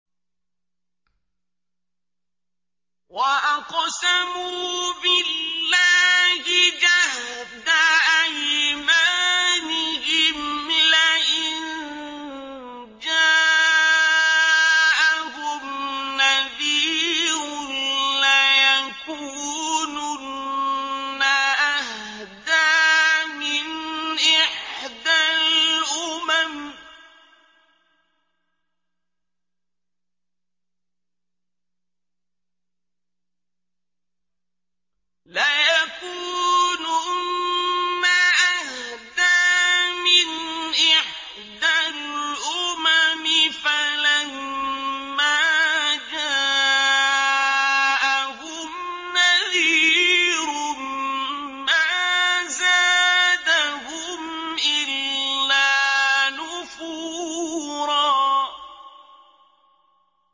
وَأَقْسَمُوا بِاللَّهِ جَهْدَ أَيْمَانِهِمْ لَئِن جَاءَهُمْ نَذِيرٌ لَّيَكُونُنَّ أَهْدَىٰ مِنْ إِحْدَى الْأُمَمِ ۖ فَلَمَّا جَاءَهُمْ نَذِيرٌ مَّا زَادَهُمْ إِلَّا نُفُورًا